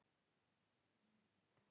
Þetta var hrikalegur misskilningur!